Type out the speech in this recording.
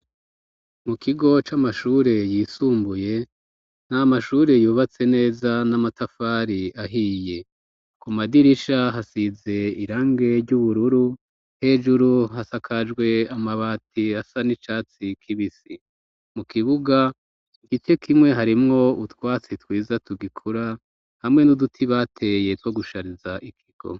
Mu kigo c'amashure yisumbuye, ni amashure yubatse neza n'amatafari ahiye. Ku madirisha hasize irange ry'ubururu, hejuru hasakajwe amabati asa n'icatsi k'ibisi. Mu kibuga, igice kimwe harimwo utwatsi twiza tugikura, hamwe n'uduti bateye two gushariza ikigo.